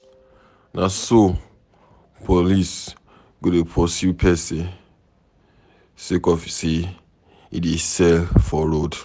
Na so police go dey pursue pesin sake of sey e dey sell for road.